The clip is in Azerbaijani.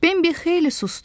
Bembi xeyli sustu.